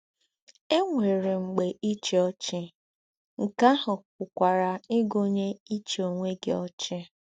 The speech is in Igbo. È nwéré “m̀gbè íchí ọ́chì” — nké àhù pùkwàrà ígụ̀nyé íchí ònwé gí ọ́chì!